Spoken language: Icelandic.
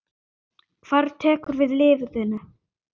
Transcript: Hver tekur við liðinu?